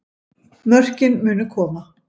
Mörkin munu koma